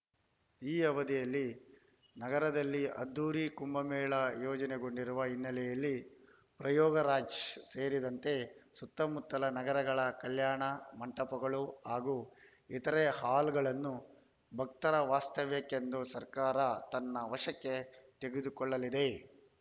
ಈ ಅವಧಿಯಲ್ಲಿ ನಗರದಲ್ಲಿ ಅದ್ಧೂರಿ ಕುಂಭಮೇಳ ಆಯೋಜನೆಗೊಂಡಿರುವ ಹಿನ್ನೆಲೆಯಲ್ಲಿ ಪ್ರಯಾಗ್‌ರಾಜ್‌ ಸೇರಿದಂತೆ ಸುತ್ತಮುತ್ತಲ ನಗರಗಳ ಕಲ್ಯಾಣ ಮಂಟಪಗಳು ಹಾಗೂ ಇತರೆ ಹಾಲ್‌ಗಳನ್ನು ಭಕ್ತರ ವಾಸ್ತವ್ಯಕ್ಕೆಂದು ಸರ್ಕಾರ ತನ್ನ ವಶಕ್ಕೆ ತೆಗೆದುಕೊಳ್ಳಲಿದೆ